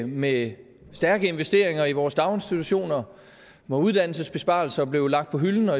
med stærke investeringer i vores daginstitutioner og hvor uddannelsesbesparelser blev lagt på hylden og